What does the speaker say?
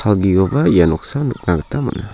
ia noksao nikna gita man·a.